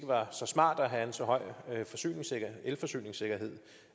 var så smart at have en så høj elforsyningssikkerhed